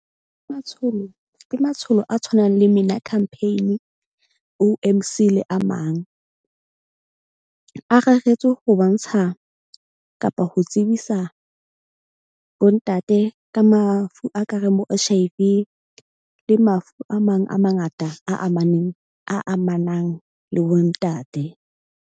Matsholo ke matsholo a tshwanang le MINA campaign-e, O_M_C le a mang. A reretswe ho bontsha kapa ho tsebisa bo ntate ka mafu a ka reng bo H_I_V le mafu a mang a mangata a amaneng a amanang le bo ntate.